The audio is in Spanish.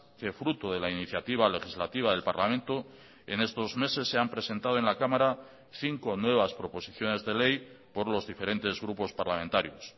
que fruto de la iniciativa legislativa del parlamento en estos meses se han presentado en la cámara cinco nuevas proposiciones de ley por los diferentes grupos parlamentarios